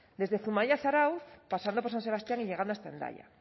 desde zumaia a zarautz pasando por san sebastián y llegando hasta hendaya